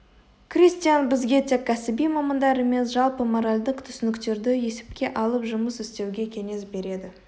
кристиан бізге тек кәсіби мамандар емес жалпы моральдық түсініктерді есепке алып жұмыс істеуге кеңес береді